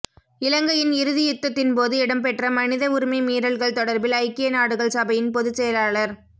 இலங்கையின் இறுதி யுத்தத்தின் போது இடம்பெற்ற மனித உரிமை மீறல்கள் தொடர்பில் ஐக்கிய நாடுகள் சபையின் பொது செயலாளர்